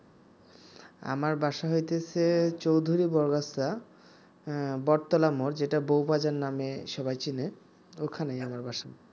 আমার বাসা হইতেছে চৌধুরী বড়গাছা বটতলার মোড় যেটা বউ বাজার নামে সবাই চেনে ওখানেই আমার বাসা